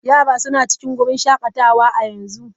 Yara suna cikin wurin shakatawa a yanzu.